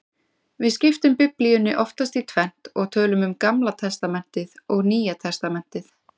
Við skiptum Biblíunni oftast í tvennt og tölum um Gamla testamentið og Nýja testamentið.